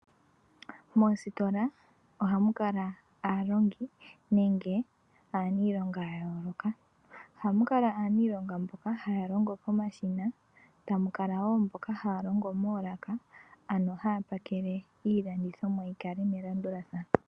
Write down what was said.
Moositola ohamu kala aalongi nenge aaniilonga ya yooloka. Ohamu kala aaniilonga mboka haya longo pomashina, tamu kala wo mboka haya longo moolaka ano haya pakele iilandithomwa yi kale yili melandulathano.